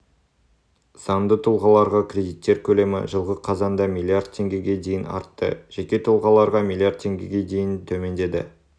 заңды тұлғаларға кредиттер көлемі жылғы қазанда млрд теңгеге дейін артты жеке тұлғаларға млрд теңгеге дейін төмендеді